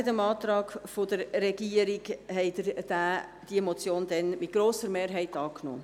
Entgegen dem Antrag der Regierung nahmen Sie diese Motion damals mit grosser Mehrheit an.